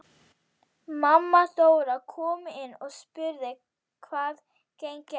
Mamma Dóra kom inn og spurði hvað gengi á.